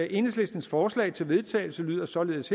enhedslistens forslag til vedtagelse lyder således